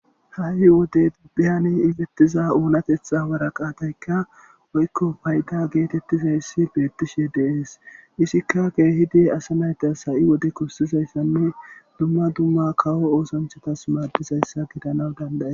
ha7i wode biyani ifettiza uunatetha waraqaatayka woykko payta geetettizayssi beettishe deees isikka geehidi asa naytas ha7i wode kossizayssanne dumma dumma kawo oosanchatas maaddizayssa gidanaw danday